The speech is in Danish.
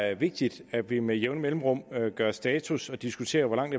er vigtigt at vi med jævne mellemrum gør status og diskuterer hvor langt